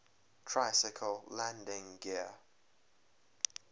tricycle landing gear